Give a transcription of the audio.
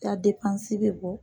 I ya bɛ bɔ.